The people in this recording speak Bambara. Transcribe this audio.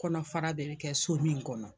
Kɔnɔ fara de bɛ kɛ so min kɔnɔ.